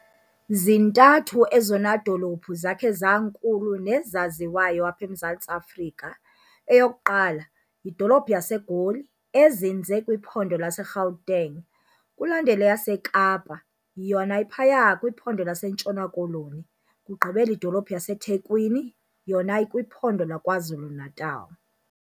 Zintathu ezona dolophu zakhe zankulu nezaziwayo apha eMzantsi Afrika. eyokuqala yidolophu yaseGoli ezinze kwiphondo laseGauteng, kulandele eyaseKapa yona iphaya kwiPhondo laseNtshona-Koloni, kugqibele idolophu yaseThekwini yona ikwiPhondo lakwaZulu-Natal.